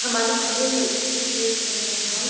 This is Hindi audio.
हमारे सामने एक तस्वीर देख रहे हैं हम।